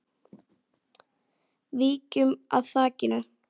Víkjum að þakinu.